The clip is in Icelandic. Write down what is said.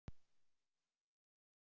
Sungu söngvararnir vel í gær?